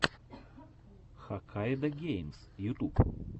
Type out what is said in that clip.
хаккайдогеймс ютуб